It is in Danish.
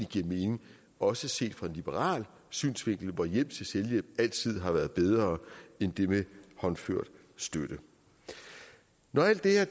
giver mening også set fra en liberal synsvinkel hvor hjælp til selvhjælp altid har været bedre end det med håndført støtte når alt det er